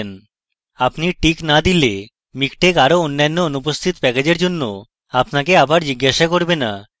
যদি আপনি টিক দেন তাহলে miktex আরো অন্যান্য অনুপস্থিত প্যাকেজএর জন্য আপনাকে আবার জিজ্ঞাসা করবে না